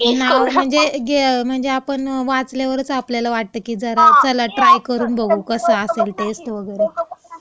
नाव म्हणजे गे..म्हणजे आपण वाचल्यावरच आपल्याला असं वाटतं, की चला आपण ट्राय करून बघू कसा असेल टेस्ट वगैरे.